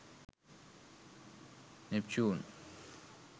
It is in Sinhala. neptune